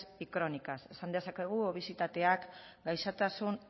y crónicas esan dezakegu obesitateak gaixotasun